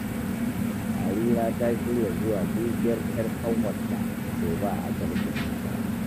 Harira ta shirya zuwa dubiyar ‘yar ƙanwarta gobe a Asibitin Murtala